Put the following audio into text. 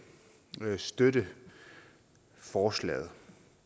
kan støtte forslaget